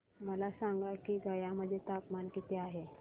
मला सांगा की गया मध्ये तापमान किती आहे